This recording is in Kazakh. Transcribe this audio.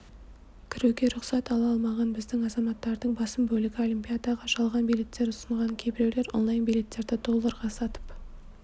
кіруге рұқсат ала алмаған біздің азаматтардың басым бөлігі олимпиадаға жалған билеттер ұсынған кейбіреулер онлайн-билеттерді долларға сатып